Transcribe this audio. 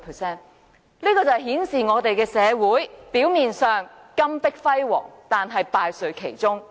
這顯示香港社會金玉其外，但敗絮其中。